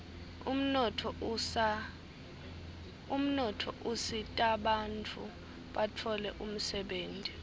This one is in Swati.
umnotfo usitabantfu batfole umsebenti